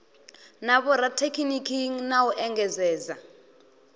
na vhorathekhiniki na u engedzadza